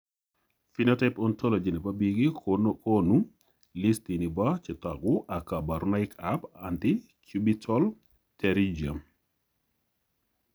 Phenotype ontology nebo biik kokoonu listini bo chetogu ak kaborunoik ab antecubital pterygium